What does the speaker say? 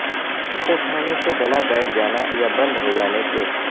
اسے کھانے سے گلہ بیٹھ جانا یا بند ہوجانے کے